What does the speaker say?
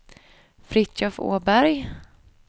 Fritiof Åberg